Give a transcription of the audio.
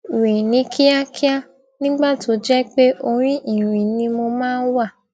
rìn ní kíákíá nígbà tó jẹ pé orí ìrìn ni mo máa wà